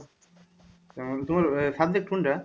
তোমার ভাইয়া subject কোনটা?